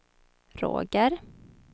Roger